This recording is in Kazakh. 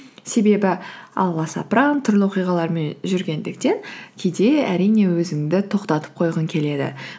себебі аласапыран түрлі оқиғалармен жүргендіктен кейде әрине өзіңді тоқтатып қойғың келеді